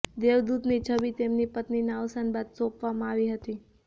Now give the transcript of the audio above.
દેવદૂત ની છબી તેમની પત્નીના અવસાન બાદ સોંપવામાં આવી હતી